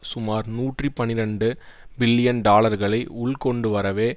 சுமார் நூற்றி பனிரண்டு பில்லியன் டாலர்களை உள் கொண்டு வரவே